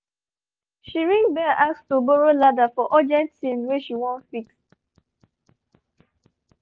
she ring bell ask to borrow ladder for urgent thing wey she wan fix